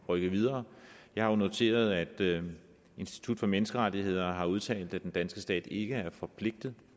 rykke videre jeg har jo noteret at institut for menneskerettigheder har udtalt at den danske stat ikke er forpligtet